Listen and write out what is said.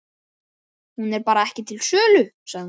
Hún er bara ekki til sölu, sagði hún.